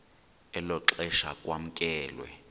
elo xesha kwamkelwe